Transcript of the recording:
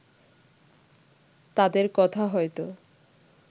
তাদের কথা হয়তো